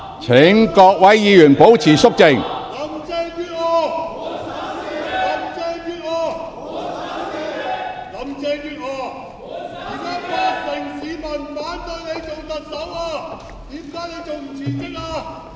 請各位議員保持肅靜。